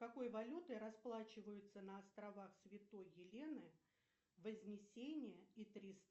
какой валютой расплачиваются на островах святой елены вознесения и